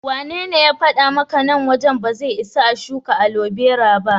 Wanene ya faɗa maka nan wajen ba zai isa a shuka alobera ba?